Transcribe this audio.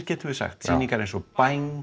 getum við sagt sýningar eins og